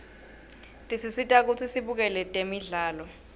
tesisita kutsi sibukele tembzalo